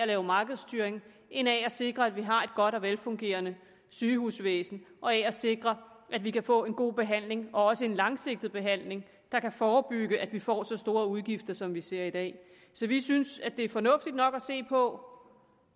lave markedsstyring end af at sikre at vi har et godt og velfungerende sygehusvæsen og af at sikre at vi kan få en god behandling og også en langsigtet behandling der kan forebygge at vi får så store udgifter som vi ser i dag vi synes det er fornuftigt nok at se på